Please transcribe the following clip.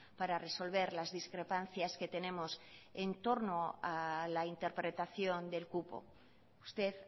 para resolver las discrepancias que tenemos en torno a la interpretación del cupo usted